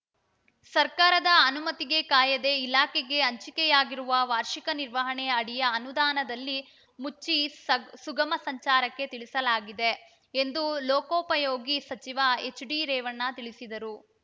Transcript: ಸರ್ಕಾರದ ಅನುಮತಿಗೆ ಕಾಯದೆ ಇಲಾಖೆಗೆ ಹಂಚಿಕೆಯಾಗಿರುವ ವಾರ್ಷಿಕ ನಿರ್ವಹಣೆ ಅಡಿಯ ಅನುದಾನದಲ್ಲಿ ಮುಚ್ಚಿ ಸ ಸುಗಮ ಸಂಚಾರಕ್ಕೆ ತಿಳಿಸಲಾಗಿದೆ ಎಂದು ಲೋಕೋಪಯೋಗಿ ಸಚಿವ ಎಚ್‌ಡಿ ರೇವಣ್ಣ ತಿಳಿಸಿದರು